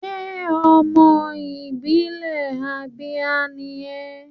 Ṣé ọmọ ìpínlẹ̀ Abia ni ẹ́?